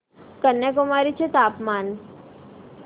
कन्याकुमारी चे तापमान